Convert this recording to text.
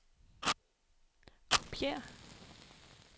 kopiér